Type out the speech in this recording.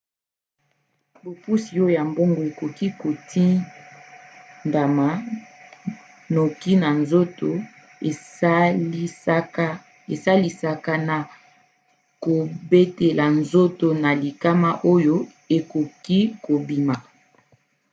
bopusi oyo ya boongo ekoki kotindama noki na nzoto esalisaka na kobatela nzoto na likama oyo ekoki kobima